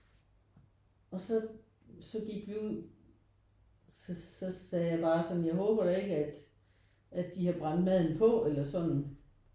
Og så så gik vi ud så så sagde jeg bare sådan jeg håber da ikke at at de har brændt maden på eller sådan